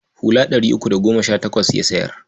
Hula ɗari uku da goma sha takwas ya sayar.